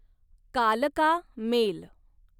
कालका मेल